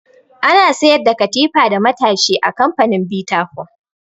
Ana sayar da katifa da matashi a kamfanin bita foam